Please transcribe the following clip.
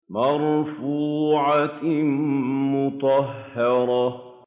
مَّرْفُوعَةٍ مُّطَهَّرَةٍ